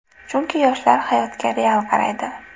Chunki yoshlar hayotga real qaraydi.